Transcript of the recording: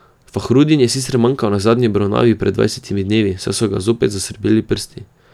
Fahrudin je sicer manjkal na zadnji obravnavi pred dvanajstimi dnevi, saj so ga zopet zasrbeli prsti.